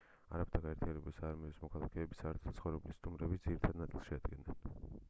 არაბთა გაერთიანებული საამიროების მოქალაქეები საერთო საცხოვრებლის სტუმრების ძირითად ნაწილს შეადგენდნენ